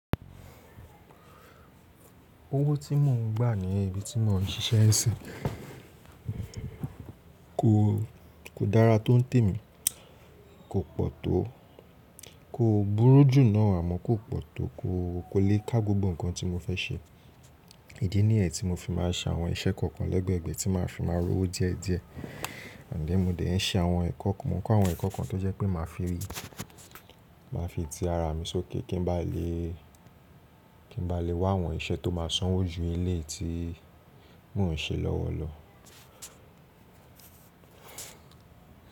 Owó tí mò ń gbà ní ibi tí mò ń ṣiṣẹ́ n sí kò dára tó ń tẹ̀ mí, kò pọ̀ tó, kò búrú jù náà àmọ́ kò pọ̀ tó, kò le ká gbogbo nǹkan tí mo fẹ́ ṣe. Ìdí nìyẹn tí mo fi máa ṣàwọn iṣẹ́ kọ̀ọ̀kan lẹ́gbẹ̀ẹ̀gbẹ̀ tí màá fi máa rówó díẹ̀ díẹ̀. Then mo dẹ̀ ń ṣe àwọn ẹ̀kọ́ kan, mọ kọ́ àwọn ẹ̀kọ́ kan tó jẹ́ pé màá fi rí, màá fi ti ara mi sókè kí n ba lè wá àwọn iṣẹ́ tó máa sanwó ju eleyii tí mò ń ṣe lọ́wọ̀ lọ.